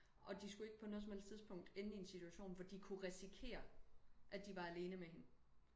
Og de skulle ikke på noget som helst tidspunkt ende i en situation hvor de kunne risikere at de var alene med hende